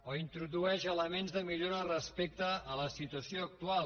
o introdueix elements de millora respecte a la situació actual